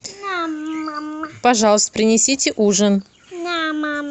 пожалуйста принесите ужин